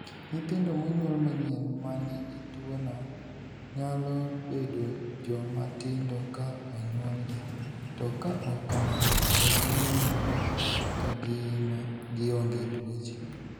Nyithindo monyuol manyien ma nigi tuwono nyalo bedo joma tindo ka onyuolgi, to ka ok kamano, to ginenore ka gima gionge tuoche.